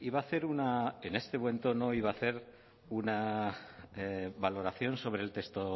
iba a hacer una en este buen tono iba a hacer una valoración sobre el texto